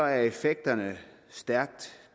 er effekterne stærkt